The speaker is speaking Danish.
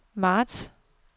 marts